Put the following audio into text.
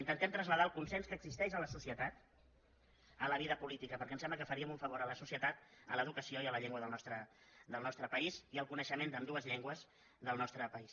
intentem traslladar el consens que existeix a la societat a la vida política perquè em sembla que faríem un favor a la societat a l’educació i a la llengua del nostre país i al coneixement d’ambdues llengües del nostre país